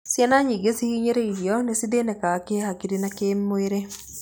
Ciana nyingĩ cihinyĩrĩirio nĩ cithĩnĩkaga kĩhakiri na kĩmwĩrĩ.